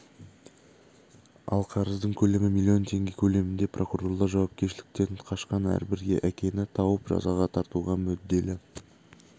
ал қарыздың көлемі миллион теңге көлемінде прокурорлар жауапкершіліктен қашқан әрбір әкені тауып жазаға тартуға мүдделі